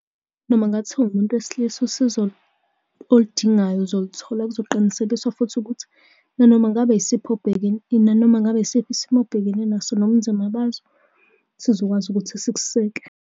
Noma kungathiwa uwumuntu wesilisa usizo oludingayo uzoluthola, kuzoqinisekiswa futhi ukuthi nanoma ngabe yisiphi nanoma ngabe isiphi isimo obhekene naso nobunzima baso, sizokwazi ukuthi sikuseke.